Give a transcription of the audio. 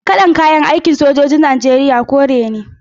Kalar kayan aikin sojojin Najeriya kore ne.